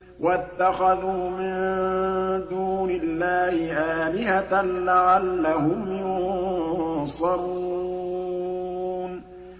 وَاتَّخَذُوا مِن دُونِ اللَّهِ آلِهَةً لَّعَلَّهُمْ يُنصَرُونَ